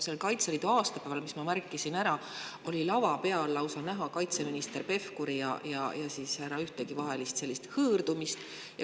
Sellel Kaitseliidu aastapäeval, ma märkasin, et lausa lava peal oli näha kaitseminister Pevkuri ja härra Ühtegi vahel sellist hõõrumist.